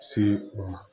Se u ma